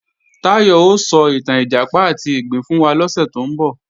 Táyọ̀ ó sọ ìtàn Ìjàpá àti ìgbín fún wa lọ́sẹ̀ tó ń bọ̀